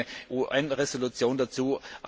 Es gibt auch eine UN Resolution